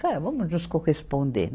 É, vamos nos corresponder.